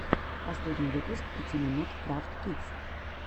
последний выпуск пяти минут крафтс кидс